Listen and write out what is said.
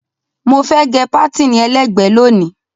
Mo fẹ́ gẹ pátìnì ẹlẹ́gbẹ̀ẹ́ lónìí.